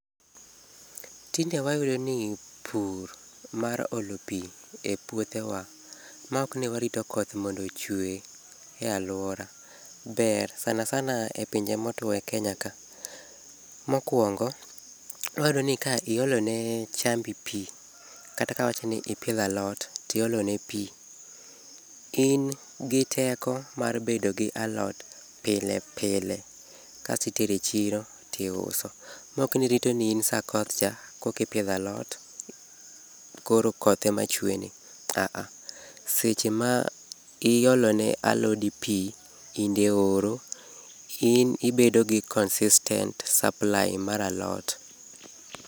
Tinde wayudo ni pur mar olo pii e puothewa ma ok ni warito koth mondo ochue e aluora ber sana sana e pinje motuo e kenya ka. Mokuongo, wayudo ni ka iolo ne chambi pii, kata ka awacho ni ipidho alot tiolo ne pii, in gi teko mar bedo gi alot pile pile kasitero e chiro to iuso. Mok ni irito ni in sa koth cha kokipidho alot koro koth ema chuene, aaah seche ma iolo ne alodi pii kinde oro in ibedo gi consistent supply mar alot.